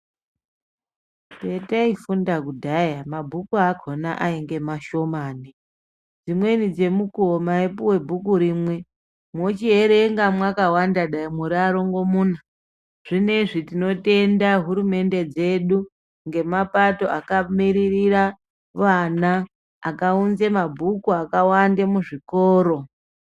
Pataifunda kudhaya mabhuku akhona angr mashomani dzimweni dzemukuwo maipiwa bhukurimwe mochierenga mwakawanda dai muri varingo muna zvineizvi tinotenda hurumende dzedu ngemapato akamirira vana akaunza mabhuku akawanda muzvikoro.